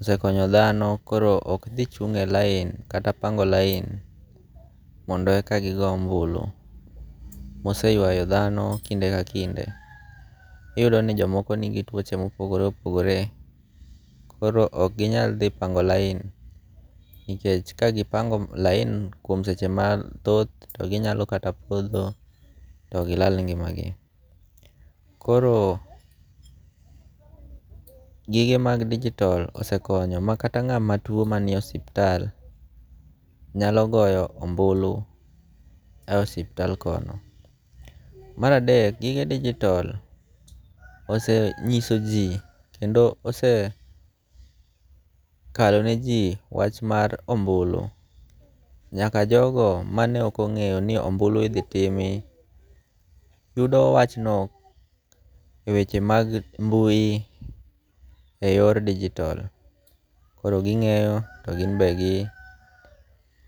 osekonyo dhano koro ok thi chunge' line kata pango line mondo eka gigo ombuli, moseywayo thano kinde ka kinde, iyudo ni jomoko nigi twoche mopogore opogore koro ok gi nyal thi pango' line nikech kagi pango laini kuom seche mathoth to ginyalo kata mana potho to gilala ngi'magi, koro gige mag digital osekonyo ma kata nga'ma tuo manie ospital nyalo goyo ombulu e ospital kono. Maradek gige digital osenyisoji kendo ose kaloneji wach mar ombulu nyaka jogo mane okonge'yo ni ombulu ithi timi yudo wachno e weche mag mbui e yor digital, koro ginge'yo to gimbe gi.